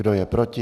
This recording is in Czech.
Kdo je proti?